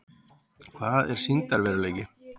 Hvað er sýndarveruleiki?